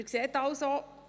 Sie sehen also: